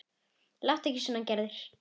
Láttu ekki svona Gerður.